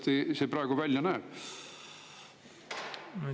Kuidas see praegu välja näeb?